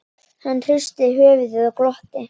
Hann hristi höfuðið og glotti.